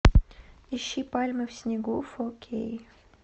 ищи пальмы в снегу фо кей